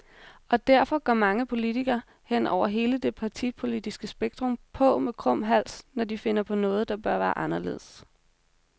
Og derfor går mange politikere, hen over hele det partipolitiske spektrum, på med krum hals, når de finder noget, der bør være anderledes.